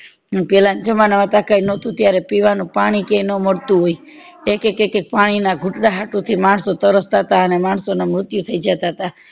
પેલા જમાના માં ટકા ય નોતું ત્યારે પીવાનું પાણી ક્યાય નો મળતું હોય એક એક પાણી ના ઘુતળા હાતું માણસો તરસ તા હતા તા અને માણસો ના મૃત્યુ થય જતા હતા